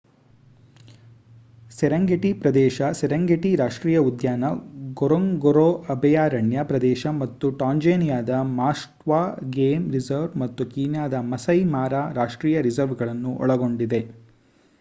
Serengeti ಪ್ರದೇಶ Serengeti ರಾಷ್ಟ್ರೀಯ ಉದ್ಯಾನ ಗೊರೊಂಗೊರೊ ಅಭಯಾರಣ್ಯ ಪ್ರದೇಶ ಮತ್ತು ಟಾಂಜಾನಿಯಾದ ಮಾಸ್ವ ಗೇಮ್ ರಿಸರ್ವ್ ಹಾಗೂ ಕೀನ್ಯಾದ ಮಸೈ ಮಾರ ರಾಷ್ಟ್ರೀಯ ರಿಸರ್ವ್ ಗಳನ್ನು ಒಳಗೊಂಡಿದೆ